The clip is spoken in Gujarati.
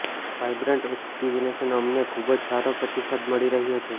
વાયબ્રન્ટ એકઝીબીશનમાં અમને ખુબ જ સારો પ્રતિસાદ મળી રહ્યો છે